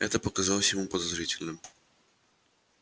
это показалось ему подозрительным